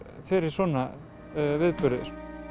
fyrir svona viðburði